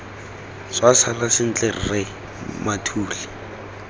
tswa sala sentle rre mathule